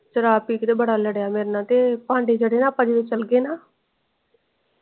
ਸ਼ਰਾਬ ਪੀਕੇ ਤੇ ਬੜਾ ਲੱਦਿਆ ਮੇਰੇ ਨਾਲ ਤੇ ਪੈਂਦੇ ਜੇਰ੍ਹੇ ਆਪਾਂ ਜੱਦ ਚਲ ਨਾ।